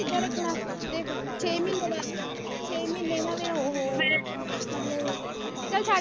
ਕਿੱਦਾਂ ਰੱਖਣਾ ਹੈ ਦੇਖ ਛੇ ਮਹੀਨੇ ਦਾ ਛੇ ਮਹੀਨੇ ਇਨ੍ਹਾਂ ਦੇ ਉਹ ਹੋ ਮਤਲਬ ਚਲ ਛੱਡ।